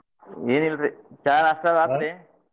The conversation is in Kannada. ಎನಿಲ್ರಿ ಚಾ ನಾಷ್ಟಾ ಅದು ಆತ್ರಿ?